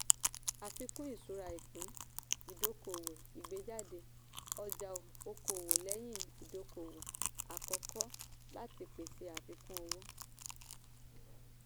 àfikún ìṣura ìpín-ìdókòwò - ìgbéjáde ọjà okòwò lẹ́yìn ìdókòwò àkọ́kọ́ láti pèsè àfikún owó.